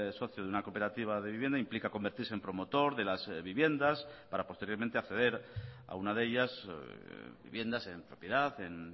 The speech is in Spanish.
socio de una cooperativa de vivienda implica convertirse en promotor de las viviendas para posteriormente acceder a una de ellas viviendas en propiedad en